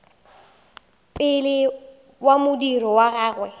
pele ka modiro wa gagwe